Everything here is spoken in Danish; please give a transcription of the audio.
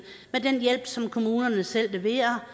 med den hjælp som kommunerne selv leverer